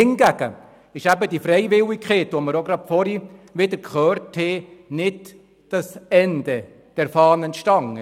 Hingegen ist die Freiwilligkeit, von der wir auch vorhin wieder gehört haben, nicht das Ende der Fahnenstange.